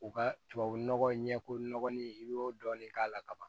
U ka tubabunɔgɔ ɲɛfɔ nɔgɔ ni i y'o dɔɔni k'a la ka ban